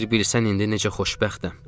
Bir bilsən indi necə xoşbəxtəm.